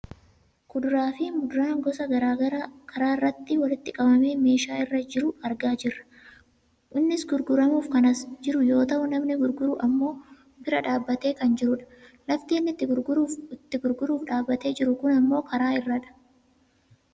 Kuduraa fi muduraa gisa gara garaa karaa irratti walitti qabamee meeshaa irra jiru argaa jirra. Innis gurguramuuf kan as jiru yoo ta'u namni gurguru ammoo bira dhaabbatee kan jirudha. Lafti inni itti gurguruuf dhaabbatee jiru kun ammoo karaa irradha.